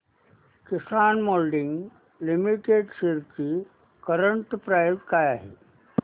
किसान moulding limited shares ची current price काय आहे